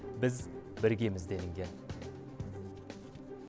біз біргеміз делінген